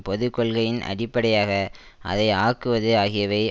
பொது கொள்கையின் அடிப்படையாக அதை ஆக்குவது ஆகியவை